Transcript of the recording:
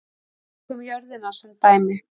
Tökum jörðina sem dæmi.